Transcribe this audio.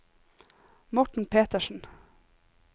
Morten Petersen